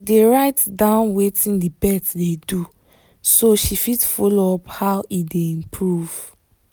dey write down wetin the pet dey do so she fit follow up how e dey improve